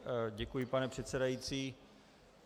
Děkuji, pane předsedající.